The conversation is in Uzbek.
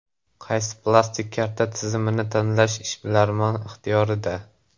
Qaysi plastik karta tizimini tanlash ishbilarmon ixtiyorida.